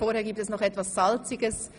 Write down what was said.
Vorher gibt es noch etwas Salziges.